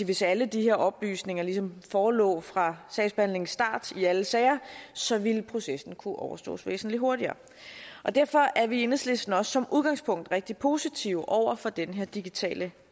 hvis alle de her oplysninger ligesom forelå fra sagsbehandlingens start i alle sager så ville processen kunne overstås væsentlig hurtigere derfor er vi i enhedslisten også som udgangspunkt rigtig positive over for den her digitale